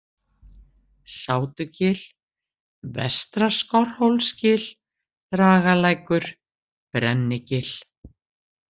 Sátugil, Vestra-Skorrhólsgil, Dragalækur, Brennigil